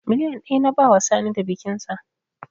Miliyan ɗaya na bawa Sani da bikinsa